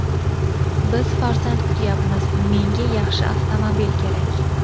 Biz farzand kutyapmiz, menga yaxshi avtomobil kerak.